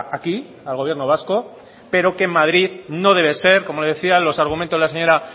aquí al gobierno vasco pero que en madrid no debe ser como le decía los argumentos la señora